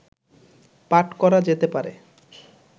পাঠ করা যেতে পারে